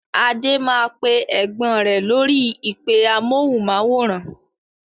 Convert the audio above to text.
Adé máa pè Ẹ̀gbọ́n rẹ lórí "ìpè amohùn-máwórán".